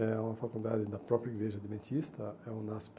É uma faculdade da própria igreja adventista, é UNASP.